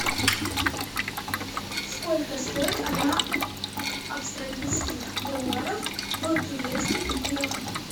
сколько стоит одна австралийских долларов в турецких лирах